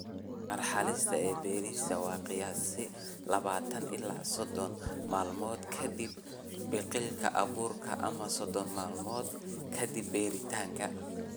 Marxaladda beerista waa qiyaastii labatan ilaa sodon maalmood ka dib biqilka abuurka ama sodon maalmood ka dib beeritaanka.